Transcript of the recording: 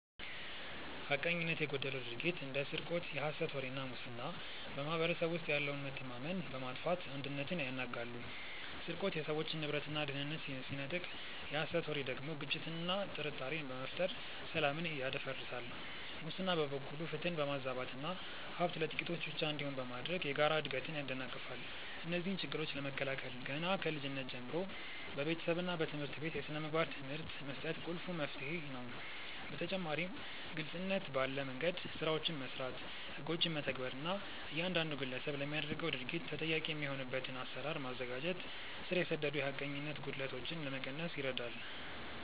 ሐቀኝነት የጎደለው ድርጊት እንደ ስርቆት፣ የሐሰት ወሬ እና ሙስና በማኅበረሰቡ ውስጥ ያለውን መተማመን በማጥፋት አንድነትን ያናጋሉ። ስርቆት የሰዎችን ንብረትና ደህንነት ሲነጥቅ፣ የሐሰት ወሬ ደግሞ ግጭትንና ጥርጣሬን በመፍጠር ሰላምን ያደፈርሳል። ሙስና በበኩሉ ፍትህን በማዛባትና ሀብት ለጥቂቶች ብቻ እንዲሆን በማድረግ የጋራ እድገትን ያደናቅፋል። እነዚህን ችግሮች ለመከላከል ገና ከልጅነት ጀምሮ በቤተሰብና በትምህርት ቤት የሥነ ምግባር ትምህርት መስጠት ቁልፍ መፍትሄ ነው። በተጨማሪም ግልጽነት ባለ መንደምገድ ስራዎችን መስራት፣ ህጎችን መተግበር እና እያንዳንዱ ግለሰብ ለሚያደርገው ድርጊት ተጠያቂ የሚሆንበትን አሰራር ማዘጋጀት ስር የሰደዱ የሐቀኝነት ጉድለቶችን ለመቀነስ ይረዳል።